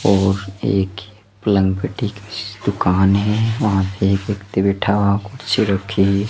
और एक दुकान है वहां पर एक व्यक्ति बैठा हुआ कुर्सी रखी--